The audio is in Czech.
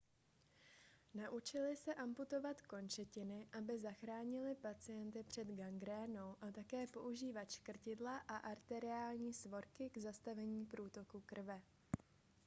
naučili se amputovat končetiny aby zachránili pacienty před gangrénou a také používat škrtidla a arteriální svorky k zastavení průtoku krve